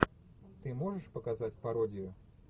ты можешь показать пародию